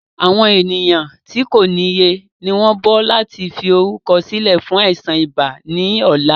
Àwọn ènìyàn tí kòniye ni wọn ń bọ̀ láti fi orúkọ sílẹ̀ fún àìsàn ibà ni ọ̀la.